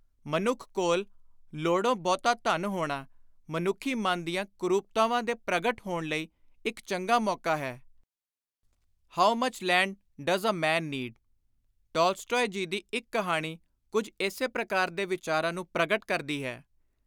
ਮਨੁੱਖ ਕੋਲ ਲੋੜੋਂ ਬਹੁਤਾ ਧਨ ਹੋਣਾ ਮਨੁੱਖੀ ਮਨ ਦੀਆਂ ਕੁਰੂਪਤਾਵਾਂ ਦੇ ਪ੍ਰਗਟ ਹੋਣ ਲਈ ਇਕ ਚੰਗਾ ਮੌਕਾ ਹੈ।”(How much land does a man need ? Tolstoy ji ਦੀ ਇਕ ਕਹਾਣੀ ਕੁਝ ਇਸੇ ਪ੍ਰਕਾਰ ਦੇ ਵਿਚਾਰਾਂ ਨੂੰ ਪ੍ਰਗਟ ਕਰਦੀ ਹੈ।)